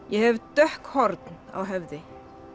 ég hef dökk horn á höfði